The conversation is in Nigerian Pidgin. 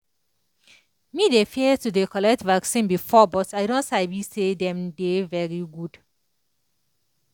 me dey fear to dey collect vaccine before but i don sabi say dem dey very good